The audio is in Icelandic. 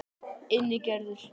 Ingigerður